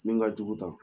Min ka jugu tan